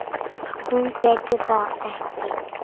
Hún gæti það ekki.